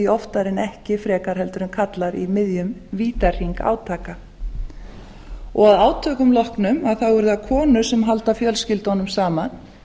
oftar en ekki frekar en karlar í miðjum vítahring átaka að átökum loknum eru það konur sem halda fjölskyldunum saman